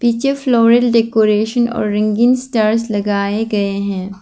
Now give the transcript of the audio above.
ये floral decoration और ringing star लगाए गए हैं।